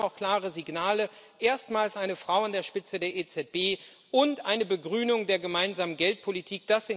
Und wir haben auch klare Signale erstmals eine Frau an der Spitze der EZB und eine Begrünung der gemeinsamen Geldpolitik.